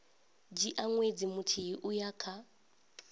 dzhia ṅwedzi muthihi uya kha